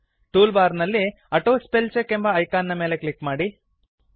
tool bar ನಲ್ಲಿ auto spell check ಎಂಬ icon ನ ಮೇಲೆ ಕ್ಲಿಕ್ ಮಾಡಿ